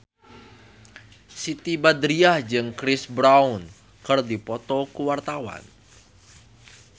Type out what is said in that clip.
Siti Badriah jeung Chris Brown keur dipoto ku wartawan